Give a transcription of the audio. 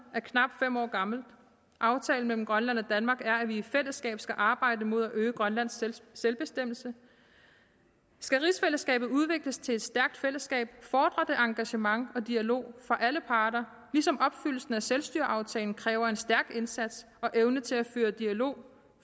knap fem år gammelt aftalen mellem grønland og danmark er at vi i fællesskab skal arbejde mod at øge grønlands selvbestemmelse skal rigsfællesskabet udvikles til et stærkt fællesskab fordrer det engagement og dialog fra alle parter ligesom opfyldelsen af selvstyreaftalen kræver en stærk indsats og evne til at føre dialog